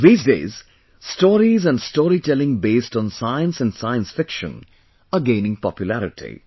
These days, stories and storytelling based on science and science fiction are gaining popularity